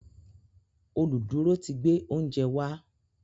Oluduro tí gbé oúnjẹ wa